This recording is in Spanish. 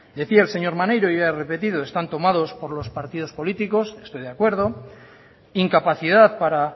decía el señor maneiro y yo ya he repetido están tomados por los partidos políticos estoy de acuerdo incapacidad para